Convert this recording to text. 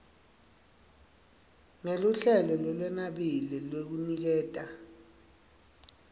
ngeluhlelo lolwenabile lwekuniketa